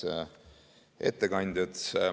Head ettekandjad!